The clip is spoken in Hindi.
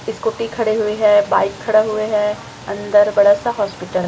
स्कूटी खड़े हुए हैं बाइक खड़े हुए हैं अंदर बड़ा सा हॉस्पिटल --